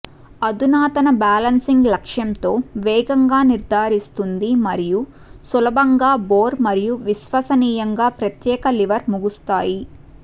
అధునాతన బ్యాలెన్సింగ్ లక్ష్యంతో వేగంగా నిర్ధారిస్తుంది మరియు సులభంగా బోర్ మరియు విశ్వసనీయంగా ప్రత్యేక లివర్ ముగుస్తాయి